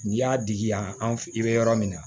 N'i y'a digi yan an f i be yɔrɔ min na